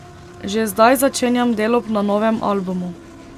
Že zdaj začenjam delo na novem albumu.